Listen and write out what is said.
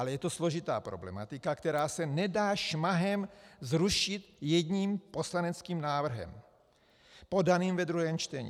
Ale je to složitá problematika, která se nedá šmahem zrušit jedním poslaneckým návrhem podaným ve druhém čtení.